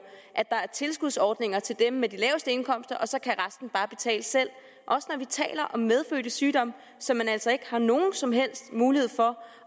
at der er tilskudsordninger til dem med de laveste indkomster og så kan resten bare betale selv også når vi taler om medfødte sygdomme som man altså ikke har nogen som helst mulighed for